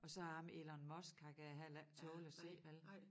Og så ham Elon Musk ham kan jeg heller ikke tåle at se vel